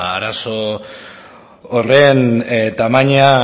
arazo horren tamaina